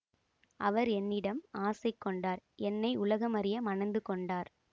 அவர் என்னிடம் ஆசை கொண்டார் என்னை உலகமறிய மணந்து கொண்டார்